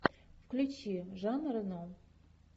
включи жан рено